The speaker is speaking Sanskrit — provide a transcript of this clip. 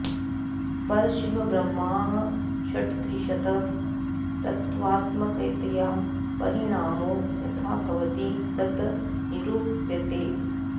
परशिवब्रह्म षट्त्रिंशत् तत्त्वात्मकतया परिणामो यथा भवति तत् निरूप्यते